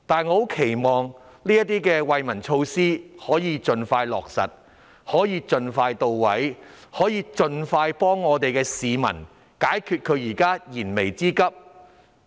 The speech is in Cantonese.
我期望這些惠民措施能夠盡快落實、盡快到位、盡快幫助市民解決燃眉之急。